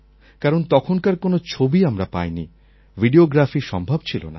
কারণ তখনকার কোনো ছবি আমরা পাইনি ভিডিওগ্রাফিও সম্ভব ছিল না